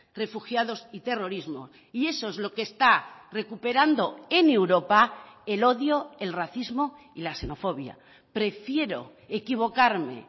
refugiados y terrorismo y eso es lo que está recuperando en europa el odio el racismo y la xenofobia prefiero equivocarme